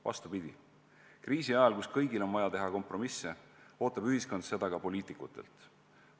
Vastupidi, kriisi ajal, kus kõigil on vaja teha kompromisse, ootab ühiskond seda ka poliitikutelt.